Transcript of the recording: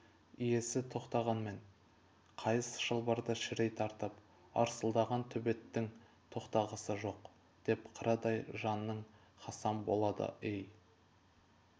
иесі тоқтағанмен қайыс шылбырды шірей тартып арсылдаған төбеттің тоқтағысы жоқ деп қарадай жаның хасам болады эй